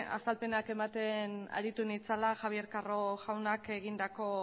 azalpenak ematen aritu nitzala javier carro jaunak egindako